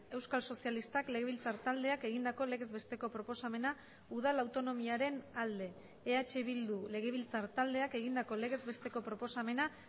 euskal sozialistak legebiltzar taldeak egindako legez besteko proposamena udal autonomiaren alde eh bildu legebiltzar taldeak egindako legez besteko proposamena